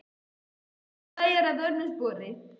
Við komumst til bæja að vörmu spori.